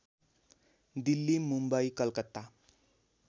Delhi Mumbai Calcutta